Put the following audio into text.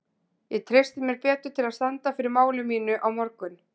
Ég treysti mér betur til að standa fyrir máli mínu á morgun.